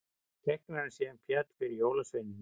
Teiknarinn sem féll fyrir jólasveinunum